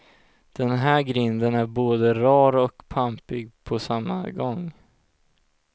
Den här grinden är både rar och pampig på samma gång.